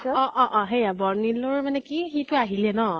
অ অ সেয়া । বৰ্নিলৰ মানে কি । সিটো আহিলে ন ?